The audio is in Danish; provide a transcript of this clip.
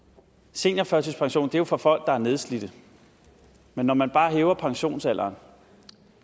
seniorførtidspension er for folk der er nedslidte men når man bare hæver pensionsalderen